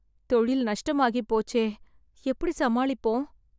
தொழில் நஷ்டமாகி போச்சே, எப்படி சமாளிப்போம்.